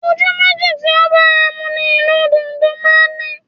Ojú méjì tí ó bára mu ni ìlù dùndún máa ń ní